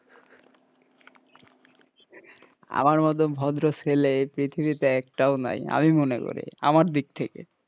আমার মতো ভদ্র ছেলে এই পৃথিবীতে একটাও নাই আমি মনে করি আমার দিক থেকে,